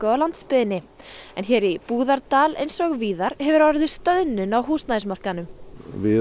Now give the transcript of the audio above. á landsbyggðinni hér í Búðardal eins og víðar hefur orðið stöðnun á húsnæðismarkaðnum við